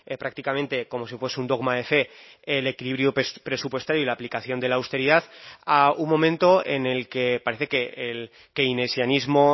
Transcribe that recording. prácticamente como si fuese un dogma de fe el equilibrio presupuestario y la aplicación de la austeridad a un momento en el que parece que el quinesianismo